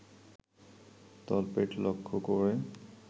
তলপেট লক্ষ করে